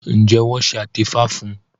Njé wón ṣe atefa fún?